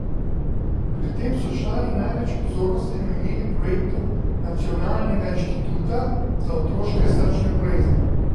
Pri tem so člani največ pozornosti namenili projektu Nacionalnega inštituta za otroške srčne bolezni.